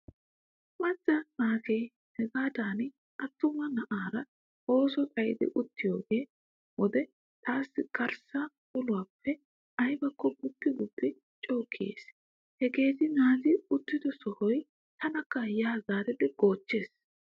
Macca na'i hagaadan attuma na'aara ooso xayidi uttiigiyo wode taassi garssa uluwaappe aybakko guppi guppi co kiyees. Hageeti naati uttido sohoy tanakka yaa zaaridi goochchees.